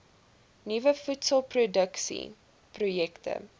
nuwe voedselproduksie projekte